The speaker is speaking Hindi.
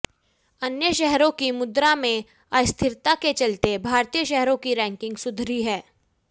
अन्य शहरों की मुद्रा में अस्थिरता के चलते भारतीय शहरों की रैंकिंग सुधरी है